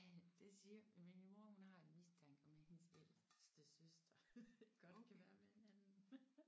Det siger min mor hun har en mistanke om at hendes ældste søster godt kan være med en anden